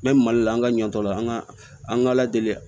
N bɛ mali la an ka ɲɔ tɔ la an ka an ka ala deli